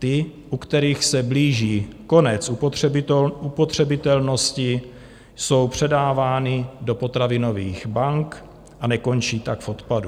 Ty, u kterých se blíží konec upotřebitelnosti, jsou předávány do potravinových bank a nekončí tak v odpadu.